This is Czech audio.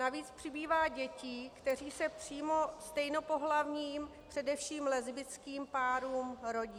Navíc přibývá dětí, které se přímo stejnopohlavním, především lesbickým, párům rodí.